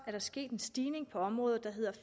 er der sket en stigning på området